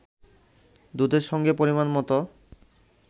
দুধের সঙ্গে পরিমান মতো